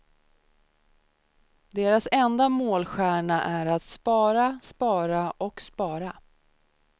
Deras enda målstjärna är att spara, spara och spara.